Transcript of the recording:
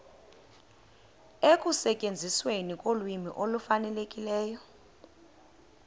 ekusetyenzisweni kolwimi olufanelekileyo